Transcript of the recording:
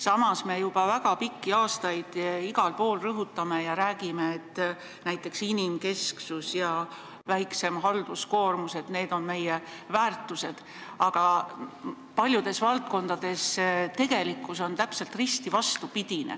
Samas me juba väga pikki aastaid igal pool rõhutame ja räägime, et näiteks inimkesksus ja väiksem halduskoormus on meie väärtused, aga paljudes valdkondades on tegelikkus täpselt risti vastupidine.